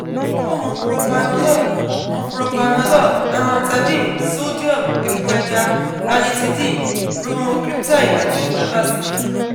o mu propranolol, mu propranolol, amantadine, sodium, epo ẹja, ranitidine, bromocriptine, ati prevacid